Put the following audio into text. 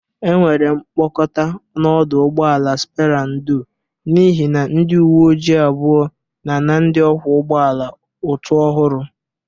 Enwere mkpakọta n'ọdụ ụgbọ ala Spera ndo n'ihe ndị uwe ojiii abụọ na-ana ndị ọkwọ ụgbọ ala ụtụ ọhụrụ.